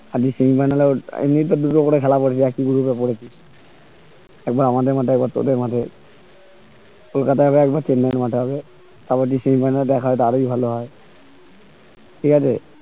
আদি semi final এ এমনি তেও দুটো করে খেলা পড়েছে একই group এ পড়েছি একবার আমাদের মাঠে একবার তোদের মাঠে কলকাতায় হবে একবার চেন্নাই এর মাঠে হবে আবার যদি semi final এ দেখা হয় তাহলে আরোই ভালোই হয় ঠিক আছে